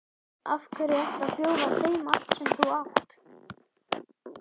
Af hverju ekki að bjóða þeim allt sem þú átt?